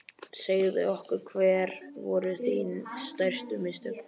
Segðu okkur hver voru þín stærstu mistök?